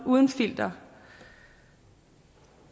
uden filter